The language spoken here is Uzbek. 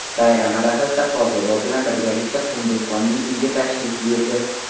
Bayram arafasida qorbobo bilan birgalikda Qunduzxonning uyiga tashrif buyurdi.